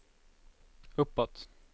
uppåt